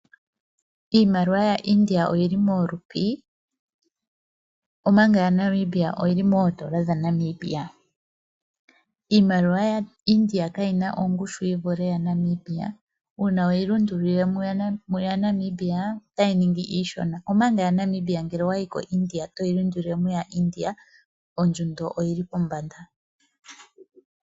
Iimaliwa yaIndia oyi li mooRupi omanga yaNamibia oyi li moodola dhaNamibia. Iimaliwa yaIndia kayi na ongushu yi vule yaNamibia. Uuna we yi lundululile muyaNamibia otayi ningi iishona, omanga yaNamibia ngele owa yi koIndia e toyi lundululile mu yaIndia ondjundo oyi li pombanda.